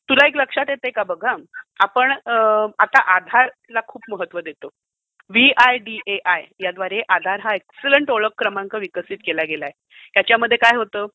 तुला एक लक्षात येतंय का? बघ हा. आपण आता आधारला खूप महत्व देतो. यूआयडीएआय याद्वारे आधार हा एकसलंट ओळख क्रमांक विकसित केला गेलाय. त्याच्यामध्ये काय होतं?